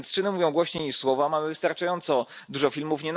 Więc czyny mówią głośniej niż słowa, mamy wystarczająco dużo filmów.